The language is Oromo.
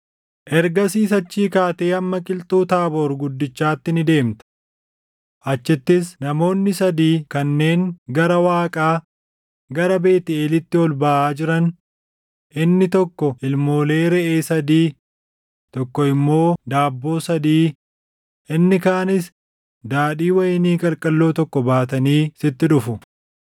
“Ergasiis achii kaatee hamma qilxuu Taaboor guddichaatti ni deemta. Achittis namoonni sadii kanneen gara Waaqaa, gara Beetʼeelitti ol baʼaa jiran, inni tokko ilmoolee reʼee sadii, tokko immoo daabboo sadii, inni kaanis daadhii wayinii qalqalloo tokko baatanii sitti dhufu.